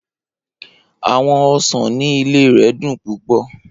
Awọn osan ni ile rẹ dun pupọ.